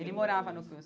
Ele morava no CRUSP.